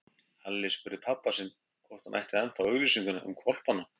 Alli spurði pabba sinn hvort hann ætti ennþá auglýsinguna um hvolpana.